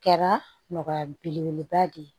Kɛra nɔgɔya belebeleba de ye